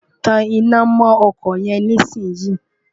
tan iná mọ́ ọkọ̀ yẹn nísìn yìí!